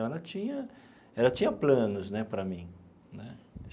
Então, ela tinha ela tinha planos né para mim né.